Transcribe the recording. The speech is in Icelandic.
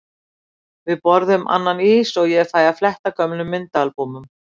Við borðum annan ís og ég fæ að fletta gömlum myndaalbúmum.